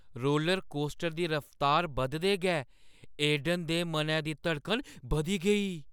Roller coaster दी रफ्तार बधदे गै ऐडन दे मनै दी धड़कन बधी गेई ।